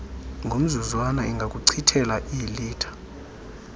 ngomzuzwana ingakuchithela iilitha